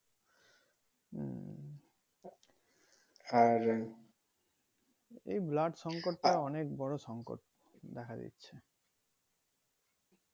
এই blood সংকটটা অনেক বড়ো সংকট দেখা দিচ্ছি